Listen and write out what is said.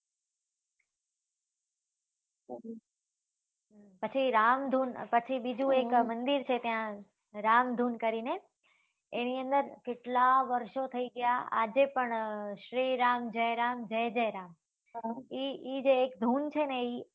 પછી રામ ધૂન પછી બીજું એક મંદિર છે ત્યાં રામ ધૂન કરી ને એની અંદર કેટલા વર્ષો થઇ ગયા આજે પણ શ્રી રામ જય રામ જય જય રામ એ એ જે એક ધૂન છે ને એ